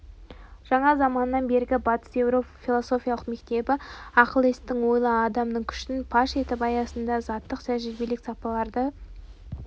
жаңа заманнан бергі батыс еуропа философиялық мектебі ақылестің ойлы адамның күшін паш етіп аясында заттық тәжірибелік сапаларды